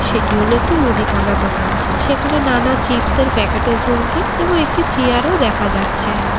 সেটি হল একটি মুদিখানার দোকান সেখানে নানা চিপস -র প্যাকেট -ও ঝুলছে এবং একটি চেয়ার -ও দেখা যাচ্ছে ।